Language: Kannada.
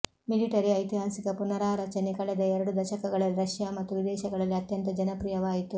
ಮಿಲಿಟರಿ ಐತಿಹಾಸಿಕ ಪುನಾರಚನೆ ಕಳೆದ ಎರಡು ದಶಕಗಳಲ್ಲಿ ರಷ್ಯಾ ಮತ್ತು ವಿದೇಶಗಳಲ್ಲಿ ಅತ್ಯಂತ ಜನಪ್ರಿಯವಾಯಿತು